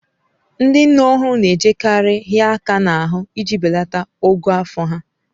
Ndị nne ọhụrụ na-ejekarị ịhịa aka n'ahụ iji belata ogo afọ ha.